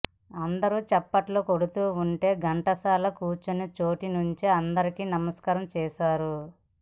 అందరూ చప్పట్లు కొడుతూ ఉంటే ఘంటసాల కూర్చున్నచోటి నుంచే అందరికీ నమస్కారం చేశారు